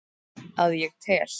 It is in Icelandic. Að ég tel.